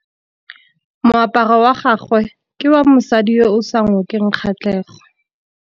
Moaparô wa gagwe ke wa mosadi yo o sa ngôkeng kgatlhegô.